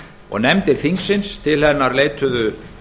og nefndir þingsins til hennar leituðu